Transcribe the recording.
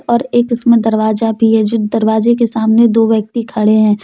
और एक उसमें दरवाजा भी है जो दरवाजे के सामने दो व्यक्ति खड़े हैं।